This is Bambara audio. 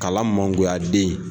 Kalan mangoya den ye